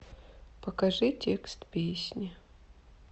покажи текст песни